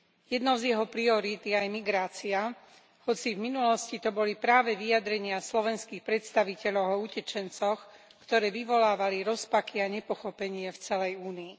Jednou z jeho priorít je aj migrácia, hoci v minulosti to boli práve vyjadrenia slovenských predstaviteľov o utečencoch, ktoré vyvolávali rozpaky a nepochopenie v celej Únii.